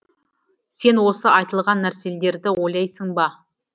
сен осы айтылған нәрселерді ойлайсың ба